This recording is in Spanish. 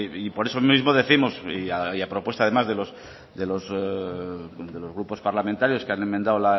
y por eso mismo décimos y a propuesta además de los grupos parlamentarios que han emendado